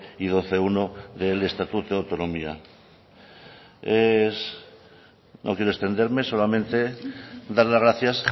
y doce punto uno del estatuto de autonomía no quiero extenderme solamente dar las gracias